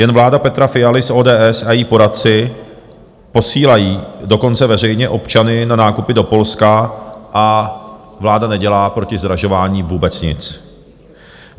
Jen vláda Petra Fialy z ODS a její poradci posílají dokonce veřejně občany na nákupy do Polska a vláda nedělá proti zdražování vůbec nic.